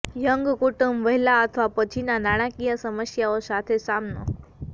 young કુટુંબ વહેલા અથવા પછીના નાણાકીય સમસ્યાઓ સાથે સામનો